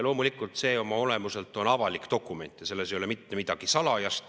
Loomulikult on see oma olemuselt avalik dokument ja selles ei ole mitte midagi salajast.